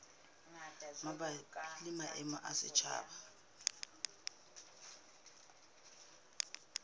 mabapi le maemo a setjhaba